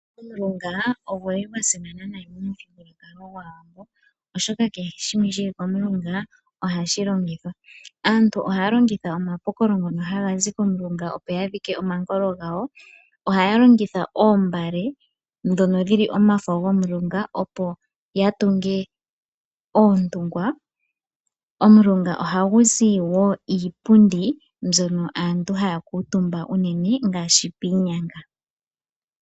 Omulunga ogu li gwasimana nayi momuthigululwakalo gwaawambo, oshoka kehe shimwe shili komulunga ohashi longithwa. Aantu oha ya longitha omapokolo ngoka haga zi komulunga opo ya dhike omankolo gawo. Oha ya longitha oombale dhono dhili omafo gomulunga opo ya tunge oontungwa. Omulunga oha gu zi woo iipundi mbyono aantu ha ya kuutumba uunene ngaashi piinyanga.